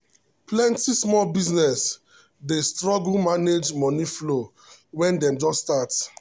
plenty small businesses dey struggle manage money flow when dem just start.